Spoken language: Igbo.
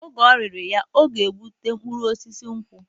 Oge o nyiri ya, ọ ga-egbutu mkpụrụ osisi nkwụ